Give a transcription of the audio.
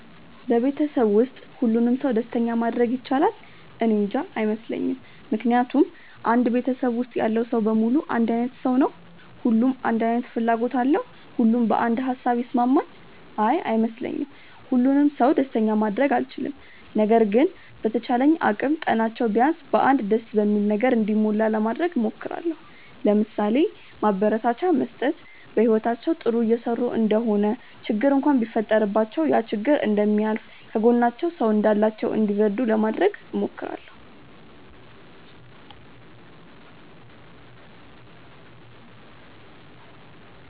በቤተሰብ ውስጥ ሁሉንም ሰው ደስተኛ ማድረግ ይቻላል? እኔንጃ። አይመስለኝም ምክንያቱም አንድ ቤተሰብ ውስጥ ያለው ሰው በሙሉ አንድ አይነት ሰው ነው? ሁሉም አንድ አይነት ፍላጎት አለው? ሁሉም በአንድ ሃሳብ ይስማማል? አይ አይመስለኝም። ሁሉንም ሰው ደስተኛ ማድረግ አልችልም። ነገር ግን በተቻለኝ አቅም ቀናቸው ቢያንስ በ አንድ ደስ በሚል ነገር እንዲሞላ ለማድረግ እሞክራለው። ለምሳሌ፦ ማበረታቻ መስጠት፣ በህይወታቸው ጥሩ እየሰሩ እንደሆነ ችግር እንኳን ቢፈጠረባቸው ያ ችግር እንደሚያልፍ፣ ከጎናቸው ሰው እንዳላቸው እንዲረዱ ለማድረግ እሞክራለው።